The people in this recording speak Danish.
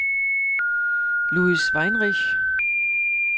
Louis Weinreich